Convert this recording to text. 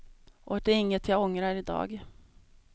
Och det är inget jag ångrar i dag.